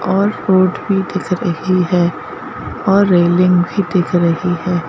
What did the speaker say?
और रोड भी दिख रही है और रेलिंग भी दिख रही है।